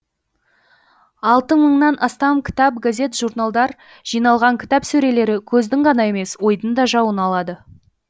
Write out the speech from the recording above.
алты мыңнан астам кітап газет журналдар жиналған кітап сөрелері көздің ғана емес ойдың да жауын алады